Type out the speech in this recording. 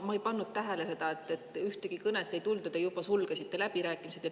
Ma ei pannud tähele, et ühtegi kõne ei tulnud ja te juba sulgesite läbirääkimised.